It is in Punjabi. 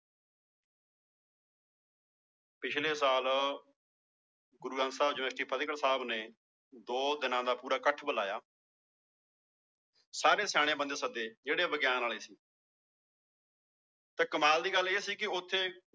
ਪਿੱਛਲੇ ਸਾਲ ਗੁਰੂ ਗ੍ਰੰਥ ਸਾਹਿਬ university ਫ਼ਤਿਹਗੜ੍ਹ ਸਾਹਿਬ ਨੇ ਦੋ ਦਿਨਾਂ ਦਾ ਪੂਰਾ ਇਕੱਠ ਬੁਲਾਇਆ ਸਾਰੇ ਸਿਆਣੇ ਬੰਦੇ ਸੱਦੇ ਜਿਹੜੇ ਵਿਗਿਆਨ ਵਾਲੇ ਸੀ ਤੇ ਕਮਾਲ ਦੀ ਗੱਲ ਇਹ ਸੀ ਕਿ ਉੱਥੇ